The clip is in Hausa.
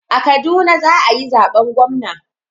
A Kaduna za a yi zaben gwamna.